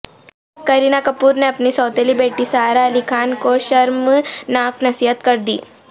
کرینہ کپور نے اپنی سوتیلی بیٹی سارہ علی خان کو شرمناک نصیحت کر دی